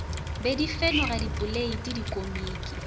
be di fenoga dipoleiti dikomiki